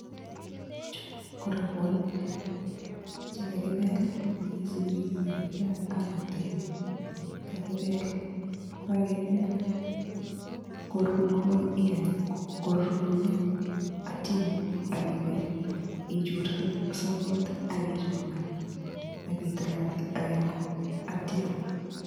Chuu ko robwonik chekakibel miten sikirii nekakilal ak kitebee, kakibel, kokakibel ko ikany korur komnye ak itio inemu ak iweichur sokot ak ichong'an ak itilatil ak ikany kourio akitio iaam.